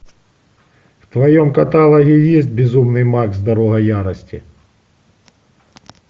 в твоем каталоге есть безумный макс дорога ярости